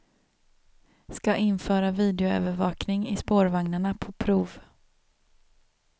Ska införa videoövervakning i spårvagnarna på prov.